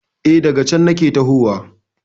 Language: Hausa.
E, daga cen nake tahowa.